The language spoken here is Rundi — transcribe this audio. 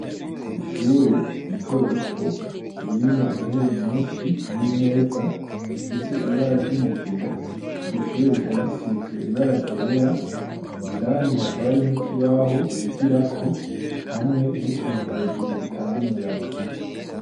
Ishure rito rito ririmwo intebe nyinshi n'imeza bifise ibara ry'umugina iryo shure rikaba risizwe ibara gera indani hakaba arimwe ikibaho bigira ko hamwe n'utuntu hejuru dutanga umuyaga.